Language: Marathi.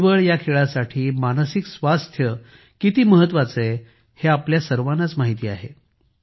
बुद्धिबळ या खेळासाठी मानसिक स्वास्थ्य किती महत्वाचे आहे हे आपल्या सर्वांनाच माहित आहे